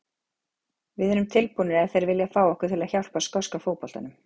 Við erum tilbúnir ef þeir vilja fá okkur til að hjálpa skoska fótboltanum.